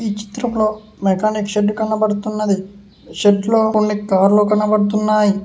ఈ చిత్రం లో మెకానిక్ షెడ్ కనబడుతున్నది షెడ్లో కొన్ని కార్లు కనబడుతున్నాయ్.